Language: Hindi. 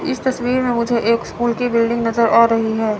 इस तस्वीर में मुझे एक स्कूल की बिल्डिंग नजर आ रही है।